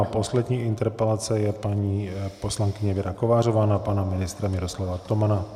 A poslední interpelace je paní poslankyně Věra Kovářová na pana ministra Miroslava Tomana.